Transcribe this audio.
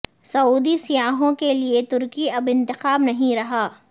سعودی سیاحوں کے لیے ترکی اب انتخاب نہیں رہا